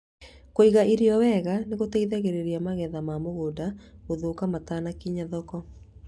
Kũiga irio wega nĩ kũgiragĩrĩrie magetha ma mũgũnda gũthũka matakinyĩra thoko.